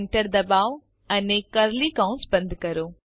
Enter ડબાઓ અને curly કૌંસ બંધ કરો